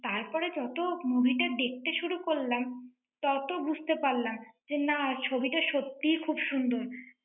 তারপর যত movie টা দেখতে শুরু করলাম, তত বুঝতে পারলাম, যে না, ছবিটা সত্যিই খুব সুন্দর।